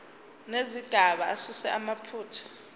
nezigaba asuse amaphutha